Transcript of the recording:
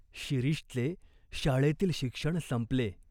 शिरीषचे शाळेतील शिक्षण संपले.